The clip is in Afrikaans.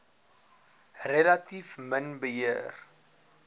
relatief min beheer